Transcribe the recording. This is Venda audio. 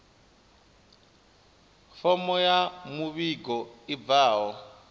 fomo ya muvhigo i bvaho